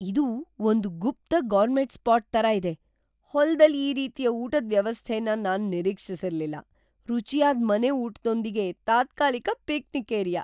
ಇದು ಒಂದ್ ಗುಪ್ತ ಗೌರ್ಮೆಟ್ ಸ್ಪಾಟ್ ತರ ಇದೆ !ಹೊಲ್ದಲ್ ಈ ರೀತಿಯ ಊಟದ್ ವ್ಯವಸ್ಥೆನ್ ನಾನ್ ನಿರೀಕ್ಷಿಸಿರ್ಲಿಲ್ಲ - ರುಚಿಯಾದ್ ಮನೆ ಊಟ್ದೊಂದಿಗೆ ತಾತ್ಕಾಲಿಕ ಪಿಕ್ನಿಕ್ ಏರಿಯಾ !